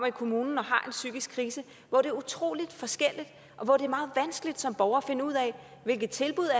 i kommunen og har en psykisk krise hvor det er utrolig forskelligt og hvor det er meget vanskeligt som borger at finde ud af hvilke tilbud